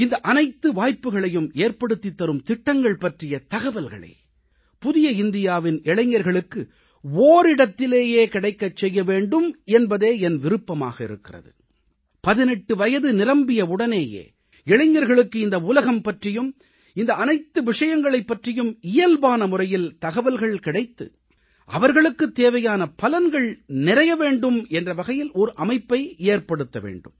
இந்த அனைத்து வாய்ப்புக்களையும் ஏற்படுத்தித் தரும் திட்டங்கள் பற்றிய தகவல்களை புதிய இந்தியாவின் இளைஞர்களுக்கு ஓரிடத்திலேயே கிடைக்கச் செய்ய வேண்டும் என்பதே என் விருப்பமாக இருக்கிறது 18 வயது நிரம்பியவுடனேயே இளைஞர்களுக்கு இந்த உலகம் பற்றியும் இந்த அனைத்து விஷயங்களைப் பற்றியும் இயல்பான முறையில் தகவல்கள் கிடைத்து அவர்களுக்குத் தேவையான பலன்கள் நிறைய வேண்டும் என்ற வகையில் ஒரு அமைப்பை ஏற்படுத்த வேண்டும்